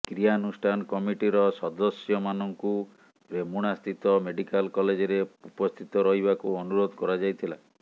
କ୍ରିୟାନୁଷ୍ଠାନ କମିଟିର ସଦସ୍ୟମାନଙ୍କୁ ରେମୁଣାସ୍ଥିତ ମେଡ଼ିକାଲ କଲେଜରେ ଉପସ୍ଥିତ ରହିବାକୁ ଅନୁରୋଧ କରାଯାଇଥିଲା